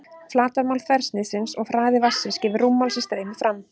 Flatarmál þversniðsins og hraði vatnsins gefur rúmmál sem streymir fram.